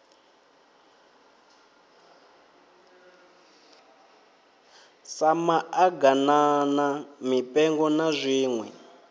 sa maḓaganana mipengo na zwiṋwe